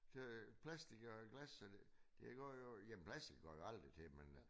Så plastik og glas og det det går jo jamen plastik går jo aldrig til